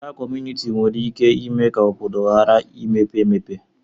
Agha kọmunịti nwere ike ime ka obodo ghara imepe emepe